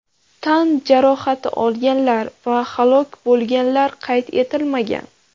Tan jarohati olganlar va halok bo‘lganlar qayd etilmagan.